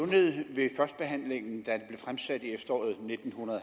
der ved førstebehandlingen da fremsat i efteråret nitten